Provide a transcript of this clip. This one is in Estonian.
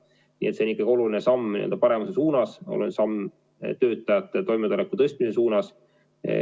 Nii et see on ikkagi oluline samm paremuse suunas, oluline samm töötajate toimetuleku tõstmise suunas.